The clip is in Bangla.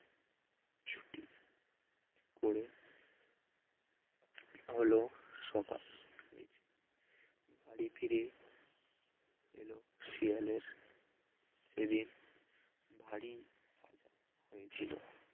করে হল সকাল বাড়ি ফিরে এলো শিয়ালের সেদিন ভারী হয়েছিল